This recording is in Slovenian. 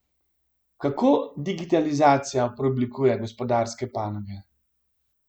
Kako digitalizacija preoblikuje gospodarske panoge?